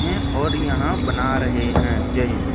हैं और यहां बना रहे हैं जय हिंद।